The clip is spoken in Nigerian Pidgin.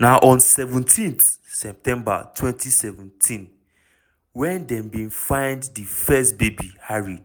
na on seventeenseptember 2017 wen dem bin find di first baby harry